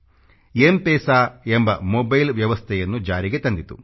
MPESA ಎಂಬ mobile ವ್ಯವಸ್ಥೆಯನ್ನು ಜಾರಿಗೆ ತಂದಿತು